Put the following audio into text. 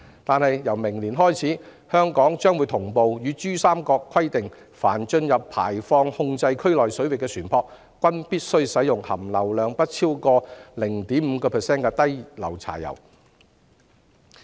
而自明年開始，香港將會與珠三角同步實施新規定，即凡進入排放控制區內水域的船舶，均必須使用含硫量不超過 0.5% 的低硫柴油。